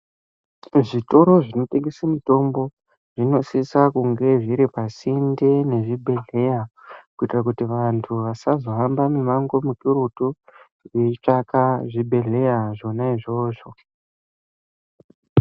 Kuzvitoro zvinotengese mitombo zvinosisa kunge zviri pasinde nezvibhehleya kuitira kuti vantu vasazohamba mimango mikurutu veitsvaka zvibhehleya zvona izvozvo.